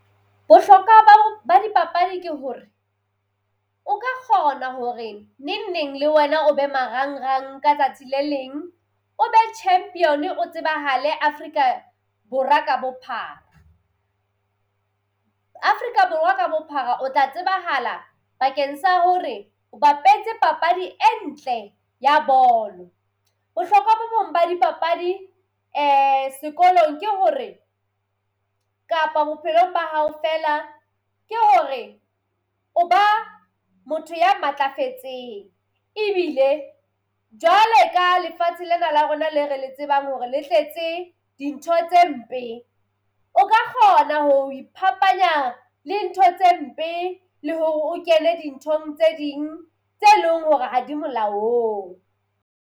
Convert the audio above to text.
Bohlokwa ba ba dipapadi ke hore o ka kgona hore neng neng le wena o be marang-rang ka tsatsi le leng, o be champion o tsebahale Afrika Borwa ka bophara. Afrika Borwa ka bophara o tla tsebahala bakeng sa hore o bapetse papadi e ntle ya bolo. Bohlokwa bo bong ba dipapadi sekolong ke hore kapa bophelong ba hao feela ke hore o ba motho ya matlafetseng ebile jwale ka lefatshe lena la rona le re le tsebang hore le tletse dintho tse mpe o ka kgona ho ipaphanya le ntho tse mpe le hore o kene dinthong tse ding tse leng hore ha di molaong.